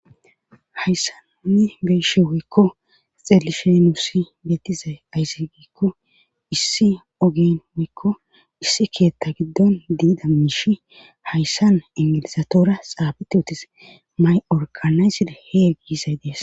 Hayssan nuni be'ishshen woykko xeelishshen nussi beetizay aze giikko issi oggen woykko issi keeththa giddon de'iza miishshi hayssan ingilizatora xaafeti utis may orgganayzidi hee giisay dees